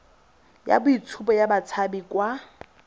ya boitshupo ya batshabi kwa